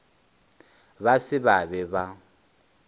ba se ba be ba